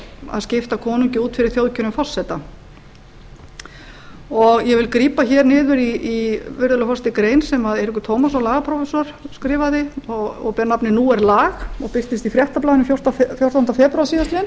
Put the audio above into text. að skipta konungi út fyrir þjóðkjörinn forseta ég vil grípa hér niður virðulegur forseti í grein sem eiríkur tómasson lagaprófessor skrifaði og ber nafnið nú er lag og birtist í fréttablaðinu fjórtánda febrúar síðastliðinn